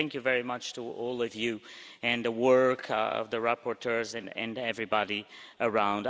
So thank you very much to all of you and the work of the rapporteurs and everybody around.